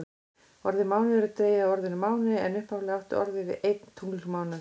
Orðið mánuður er dregið af orðinu máni en upphaflega átti orðið við einn tunglmánuð.